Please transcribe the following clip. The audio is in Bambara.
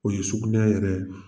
O ye sugunɛ yɛrɛ ye